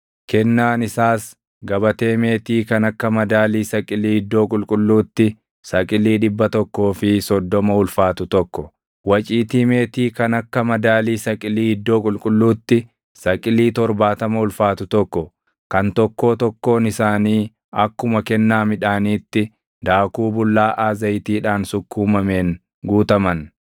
Kennaan isaas gabatee meetii kan akka madaalii saqilii iddoo qulqulluutti saqilii dhibba tokkoo fi soddoma ulfaatu tokko, waciitii meetii kan akka madaalii saqilii iddoo qulqulluutti saqilii torbaatama ulfaatu tokko kan tokkoo tokkoon isaanii akkuma kennaa midhaaniitti daakuu bullaaʼaa zayitiidhaan sukkuumameen guutaman,